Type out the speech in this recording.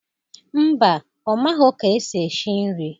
Mba, ọ maghọ ka esi eshi nri